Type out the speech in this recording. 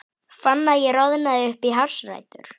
Fann að ég roðnaði upp í hársrætur.